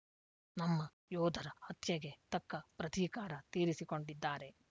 ನಮ್ಮ ಯೋಧರ ಹತ್ಯೆಗೆ ತಕ್ಕ ಪ್ರತೀಕಾರ ತೀರಿಸಿಕೊಂಡಿದ್ದಾರೆ